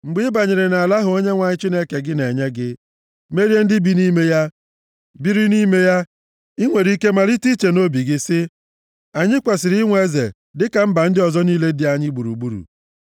Mgbe ị banyere nʼala ahụ Onyenwe anyị Chineke gị na-enye gị, merie ndị bi nʼime ya, biri nʼime ya, i nwere ike malite iche nʼobi gị sị, “Anyị kwesiri inwe eze dịka mba ndị ọzọ niile dị anyị gburugburu.”